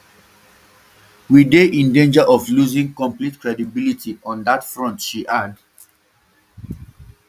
we dey in danger of losing complete credibility on dat front she add